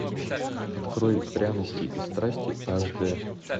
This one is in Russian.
открой пряности и страсти аш дэ